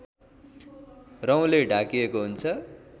रौँले ढाकिएको हुन्छ